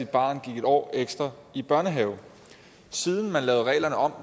barn gik en år ekstra i børnehave siden man lavede reglerne om